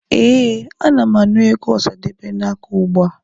Ee, ana m anụ egwu Ọsadebe na-akụ ugbua.